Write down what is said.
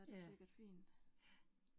Ja, ja